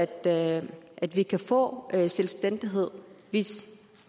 at at vi kan få selvstændighed hvis